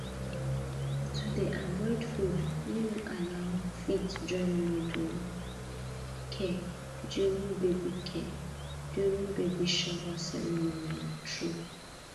to dey avoid food wey no allow fit join modern care during baby care during baby shower ceremony na true